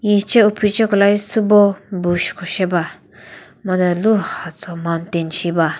hi che uphiche kolai sübo bush ko she ba madhe luha tso mountain she ba.